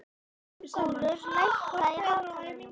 Björgúlfur, lækkaðu í hátalaranum.